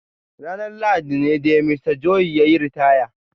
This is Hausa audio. Ranar Lahadi ne dai Mista Joshua ya yi ritaya.